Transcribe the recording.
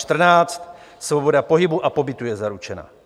Článek 14 - svoboda pohybu a pobytu je zaručena.